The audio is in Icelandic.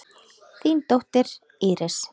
Þín dóttir, Íris.